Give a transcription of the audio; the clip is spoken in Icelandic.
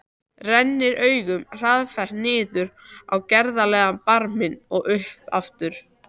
Rennir augunum hraðferð niður á gerðarlegan barminn og upp aftur.